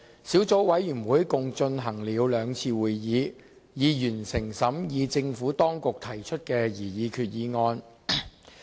小組委員會共舉行了兩次會議，並已完成審議政府當局提出的擬議決議案。